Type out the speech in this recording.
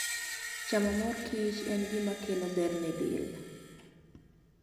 Chamo mor kich en gima kelo ber ne del.